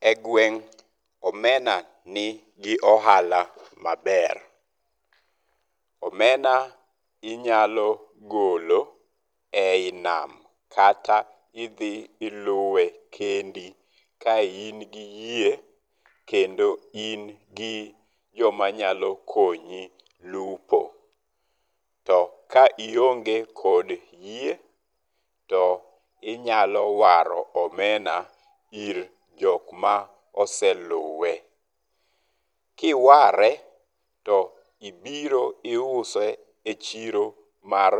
E gweng' omena ni gi ohala maber. Omena inyalo golo eyi nam kata idhi iluwe kendi ka in gi yie kendo in gi joma nyalo konyi lupo. To ka ionge kod yie to inyalo waro omena ir jok ma oseluwe. Kiware to ibiro iose e chiro mar